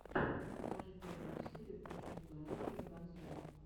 покажи первую серию почувствуй оружие ганзрум